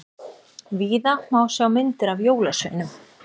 Víða má sjá myndir af jólasveinum.